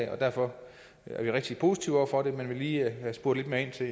og derfor er vi rigtig positive over for det men vi vil lige have spurgt lidt mere ind til